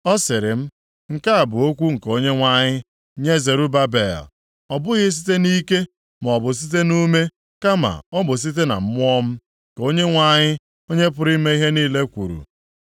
Ọ sịrị m, “Nke a bụ okwu nke Onyenwe anyị nye Zerubabel. ‘Ọ bụghị site nʼike, maọbụ site nʼume, kama ọ bụ site na Mmụọ m,’ ka Onyenwe anyị, Onye pụrụ ime ihe niile kwuru.